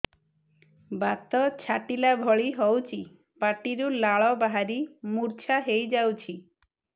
ବାତ ଛାଟିଲା ଭଳି ହଉଚି ପାଟିରୁ ଲାଳ ବାହାରି ମୁର୍ଚ୍ଛା ହେଇଯାଉଛି